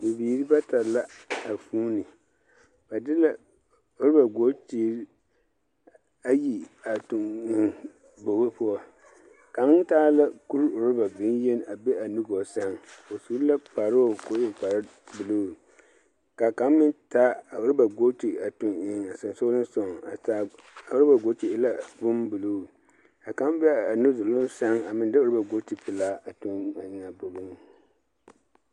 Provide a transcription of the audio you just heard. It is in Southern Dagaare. Bibiiri bata la, a vuuni. Ba de la, oraba-bootiri, ayi a tuŋ eŋ bogi poɔ. Kaŋ taa la kur-oraba beŋ-yeni a be a nugɔɔ sɛŋ, o su la kparoo ko e kparebuluu. Ka kaŋ meŋ taa a oraba-booti a tuŋ eŋ a sonsolensogaŋ, a taa oraba-booti e la bombuluuu. Ka kaŋ be a nudoloŋ sɛŋ a meŋ de oraba-bootipelaa a tuŋ eŋ a bogiŋ.